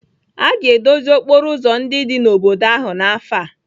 A ga-edozi okporo ụzọ ndị dị n'obodo ahụ n'afọ a.